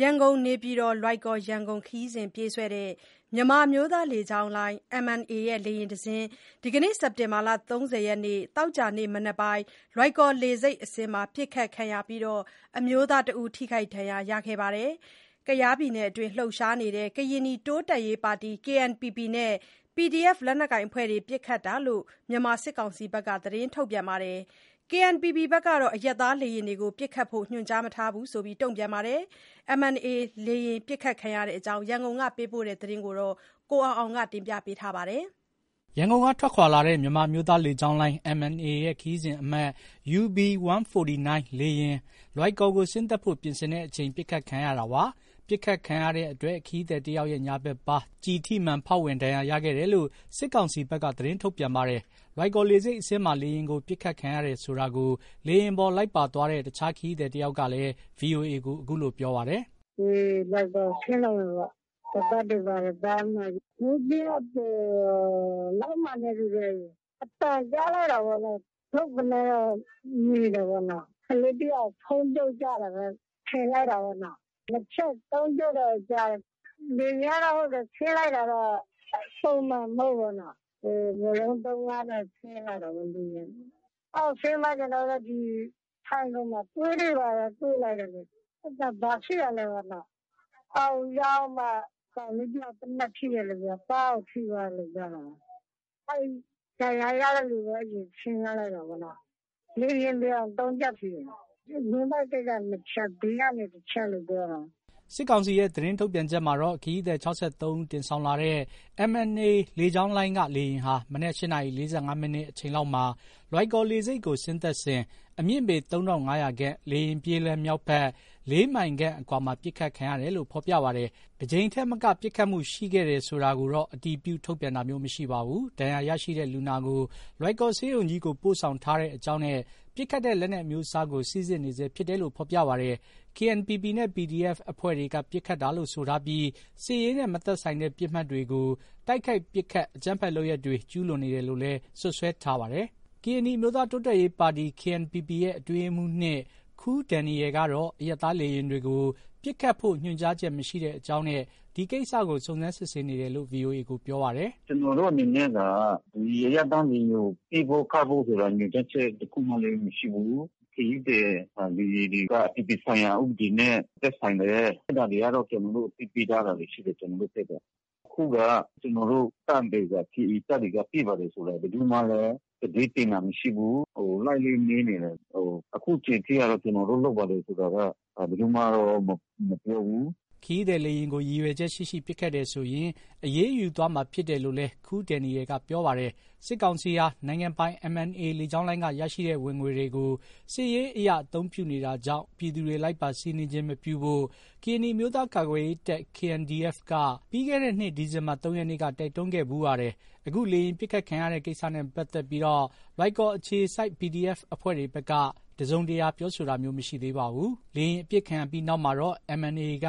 ရန်ကုန်-နေပြည်တော်-လွိုင်ကော်- ရန်ကုန် ခရီးစဉ်ပြေးဆွဲတဲ့ မြန်မာအမျိုးသားလေကြောင်းလိုင်း MNA ရဲ့ လေယာဉ်တစင်း ဒီနေ့ စက်တင်ဘာ ၃၀ သောကြာနေ့မနက် လွိုင်ကော်လေဆိပ်အဆင်းမှာ ပစ်ခတ်ခံရပြီး အမျိုးသားတစ်ဦး ထိခိုက်ဒဏ်ရာရခဲ့ပါတယ်။ ကယားပြည်နယ်အတွင်း လှုပ်ရှားနေတဲ့ ကရင်နီ တိုးတက်ရေးပါတီ KNPP နဲ့ PDF လက်နက်ကိုင်အဖွဲ့တွေ ပစ်ခတ်တာလို့ မြန်မာစစ်ကောင်စီဘက်က သတင်းထုတ်ပြန်ပါတယ်။ KNPP ဘက်ကတော့ အရပ်သားလေယာဉ်ကို ပစ်ခတ်ဖို့ ညွှန်ကြားမထားဘူးလို့ တုံ့ပြန်ပါတယ်။ MNA လေယာဉ်ပစ်ခတ်ခံရတဲ့အကြောင်း ရန်ကုန်ကပေးပို့တဲ့သတင်းကို ကိုအောင်အောင်က တင်ပြပါမယ်။ ရန်ကုန်က ထွက်ခွာလာတဲ့ မြန်မာ့အမျိုးသားလေကြောင်းလိုင်း MNA ရဲ့ ခရီးစဉ်အမှတ် UB 149 လေယာဉ် လွိုင်ကော်ကို ဆင်းသက်ဖို့ ပြင်ဆင်တဲ့ အချိန် ပစ်ခတ်ခံရတာပါ။ ပစ်ခတ်ခံရတဲ့အတွက် ခရီးသည်တယောက် ရဲ့ ညာဘက်ပါး ကျည်ထိမှန် ဖေါက်ဝင်ဒဏ်ရာရရှိခဲ့တယ်လို့ စစ်ကောင်စီဘက်က သတင်းထုတ်ပြန်ပါတယ်။ လွိုင်ကော်လေဆိပ်အဆင်းမှာ လေယာဉ်ကို ပစ်ခတ်ခံရတယ်ဆိုတာကို လေယာဉ်ပေါ် လိုက်ပါသွားတဲ့ တခြား ခရီးသည် တယောက်ကလည်း VOA ကို ပြောပါတယ်။ “ လွိုင်ကော်ဆင်းတော့မယ်ပေါ့နော။ ခါးပတ်တွေဘာတွေပတ် အဲဒီမှာ။ မိုးဗြဲအကျော်လောက်မှာနဲ့ တူတယ်။ အသံကြားလိုက်တာပေါ့နော်။ ဒုတ်ကနဲတော့ မြည်တယ်။ ကလေးတစ်ယောက် ဖုန်းပြုတ်ကျတယ်ပဲ ထင်လိုက်တာပေါ့နော။ ၂ချက်။ ၃ချက်တော့ ကြားတယ်။ လေယာဉ်ကတော့ ဟုတ်တယ် ဆင်းလိုက်တာတော့ ပုံမှန်မဟုတ်ဘူးပေါ့နော။ ဝရုန်းသုန်းကားနဲ့ ဆင်းလိုက်တာလေ။ အောက်ဆင်းတော့ ထိုင်ခုံမှာ သွေးတွေ ဘာတွေ တွေ့လိုက်တယ်လေ။ ဘာဖြစ်တာလဲပေါ့။ အောက်ရောက်မှ ကောင်လေးတစ်ယောက် သေနတ်ထိသွားတယ်ပြောတာ။ ပါးကို ထိသွားတယ်ပြောတာပဲ။ ဒဏ်ရာရတဲ့လူကို အရင် ဆင်းခိုင်းလိုက်တာပေါ့နော်။ လေယာဉ်ပျံ ၃ချက် ထိတယ်နော။ ဝမ်းဗိုက် ၂ ချက်။ ဘေး ၁ချက်လို့ ပြောတာပဲ။ ” စစ်ကောင်စီရဲ့ သတင်းထုတ်ပြန်ချက်မှာတော့ ခရီးသည် ၆၃ ဦးတင်ဆောင်လာတဲ့ MNA လေကြောင်းလိုင်းက လေယာဉ်ဟာ မနက် ၈ နာရီ ၄၅ မိနစ် အချိန်လောက်မှာ လွိုင်ကော်လေဆိပ်ကို ဆင်းသက်စဉ် အမြင့်ပေ ၃၅၀၀ ခန့်၊ လေယာဉ်ပြေးလမ်း မြောက်ဘက် ၄ မိုင်ခန့်အကွာမှာ ပစ်ခတ်ခံရတယ်လို့ ဖော်ပြပါတယ်။ တကြိမ်ထက်မက ပစ်ခတ်မှု ရှိခဲ့တယ်တာကို အတည်ပြု ထုတ်ပြန်ခြင်း မရှိပါဘူး။ ဒဏ်ရာရရှိတဲ့ လူနာကို လွိုင်ကော်ဆေးရုံကြီးကို ပို့ဆောင်ထားတဲ့အကြောင်းနဲ့ ပစ်ခတ်တဲ့ လက်နက်အမျိုးအစားကို စိစစ်နေဆဲဖြစ်တယ်လို့ ဖေါ်ပြပါတယ်။ KNPP နဲ့ PDF အဖွဲ့တွေက ပစ်ခတ်တာလို့ဆိုထားပြီး စစ်ရေးနဲ့ မသက်ဆိုင်တဲ့ ပစ်မှတ်တွေကို တိုက်ခိုက်ပစ်ခတ် အကြမ်းဖက်လုပ်ရပ်တွေ ကျုးလွန်နေတယ်လို့လည်း စွပ်စွဲထားပါတယ်။ ကရင်နီအမျိုးသားတိုးတက်ရေးပါတီ KNPP ရဲ့ အတွင်းရေးမှုး၂ ခူးဒယ်နီရယ်ကတော့ အရပ်သားလေယာဉ်တွေကို ပစ်ခတ်ဖို့ ညွှန်ကြားချက်မရှိတဲ့အကြောင်းနဲ့ ဒီကိစ္စကို စုံစမ်း စစ်ဆေးနေတယ်လို့ VOA ကို ပြောပါတယ်။ “ ကျနော်တို့အနေနဲ့က ဒီအရပ်သားလေယာဉ်ကို ပစ်ဖို့ ခတ်ဖို့ဆိုတာ ညွှန်ကြားချက်လည်း မရှိဘူး။ ခရီးသည် လေယာဉ်တွေက အပြည်ပြည်ဆိုင်ရာ ဥပဒေနဲ့ သက်ဆိုင်တယ်။ အဲဒါတွေကတော့ ကျနော်တို့ အသိပေးထားတာတွေ ရှိတယ်။ ကျနော်တို့ ဘက်က။ အခုက ကျနော်တို့တပ်တွေက KA တပ်တွေက ပစ်ပါတယ်ဆိုတာ ဘယ်သူမှလည်း သတင်းတင်တာမရှိဘူး။ လိုက်လဲ မေးနေတယ်။ အခုချိန်ထိကတော့ ကျနော်တို့ လုပ်ပါတယ်ဆိုတာက ဘယ်သူမှတော့ မပြောဘူး။” ခရီးသည် လေယာဉ်ကို ရည်ရွယ်ချက်ရှိရှိပစ်ခတ်တယ်ဆိုရင် အရေးယူသွားမှာဖြစ်တယ်လို့လည်း ခူးဒယ်နီရယ်က ပြောပါတယ်။ စစ်ကောင်စီဟာ နိုင်ငံပိုင် MNA လေကြောင်းလိုင်းကရရှိတဲ့ ဝင်ငွေတွေကို စစ်ရေးအရ အသုံးပြုနေတာကြောင့် ပြည်သူတွေ လိုက်ပါစီးနင်းခြင်း မပြုဖို့ ကရင်နီ အမျိုးသားကာကွယ်ရေးတပ် KNDF က ပြီးခဲ့တဲ့နှစ် ဒီဇင်ဘာလ ၃ ရက်နေ့ ကတော့ တိုက်တွန်းခဲ့ဖူးပါတယ်။ အခု လေယာဉ်ပစ်ခတ်ခံရတဲ့ ကိစ္စနဲ့ ပတ်သက်ပြီး လွိုင်ကော်အခြေစိုက် PDF အဖွဲ့တွေဘက်က တစုံတရာပြောခြင်း မရှိသေးပါဘူး။ လေယာဉ် အပစ်ခံရပြီးနောက်မှာတော့ MNA က